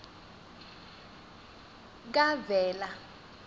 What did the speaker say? kavela